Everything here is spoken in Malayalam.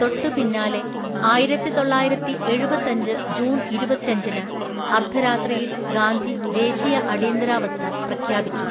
തൊട്ടുപിന്നാലെ, ആയിരത്തിതൊള്ളായിരത്തിഎഴുപത്തഞ്ച് ജൂൺ ഇരുപത്തഞ്ചിന് അർദ്ധരാത്രിയിൽ ഗാന്ധി ദേശീയ അടിയന്തരാവസ്ഥ പ്രഖ്യാപിച്ചു.